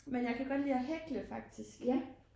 Men jeg kan godt lide at hækle faktisk